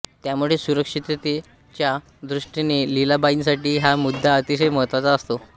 त्यामुळे सुरक्षिततेच्या दृष्टीने लीलाबाईंसाठी हा मुद्दा अतिशय महत्त्वाचा असतो